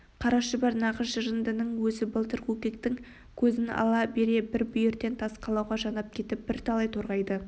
қара шұбар нағыз жырындының өзі былтыр көкектің көзін ала бере бір бүйірден тас қалауға жанап кетіп бірталай торғайды